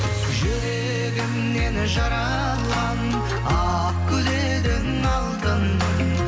жүрегімнен жаралған ақ гүл едің алтыным